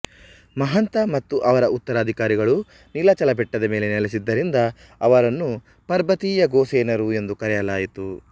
ಮಹಂತ ಮತ್ತು ಅವರ ಉತ್ತರಾಧಿಕಾರಿಗಳು ನೀಲಾಚಲ ಬೆಟ್ಟದ ಮೇಲೆ ನೆಲೆಸಿದ್ದರಿಂದ ಅವರನ್ನು ಪರ್ಬತೀಯ ಗೋಸೇನರು ಎಂದು ಕರೆಯಲಾಯಿತು